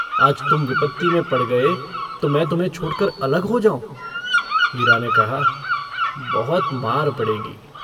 आज तुम विपत्ति में पड़ गये तो मै तुम्हें छोड़कर अलग हो जाऊँ? हीरा ने कहा - बहुत मार पड़ेगी।